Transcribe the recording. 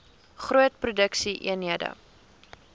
groot produksie eenhede